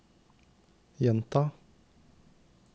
gjenta